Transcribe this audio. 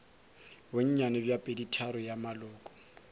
bonnyane bja peditharong ya maloko